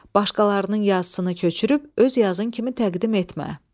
Başqalarının yazısını köçürüb öz yazın kimi təqdim etmə.